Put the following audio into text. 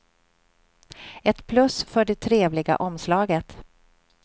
Ett plus för det trevliga omslaget.